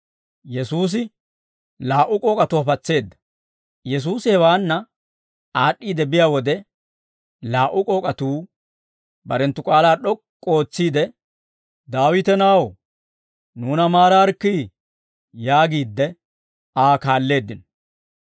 Yesuusi hewaanna aad'd'iide biyaa wode, laa"u k'ook'atuu barenttu k'aalaa d'ok'k'u ootsiide, «Daawite na'aw, nuuna maaraarikkii» yaagiidde Aa kaalleeddino.